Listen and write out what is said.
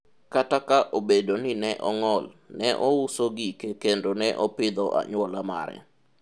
akta ka obedo ni ne ong'ol, ne ouso gike kendo ne opidho anyuola mare